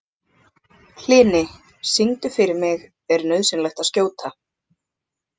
Hlini, syngdu fyrir mig „Er nauðsynlegt að skjóta“.